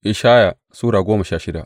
Ishaya Sura goma sha shida